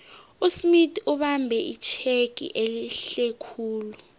usmith ubambe itjhegi ehlekhulu